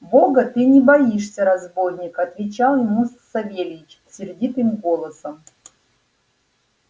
бога ты не боишься разбойник отвечал ему савельич сердитым голосом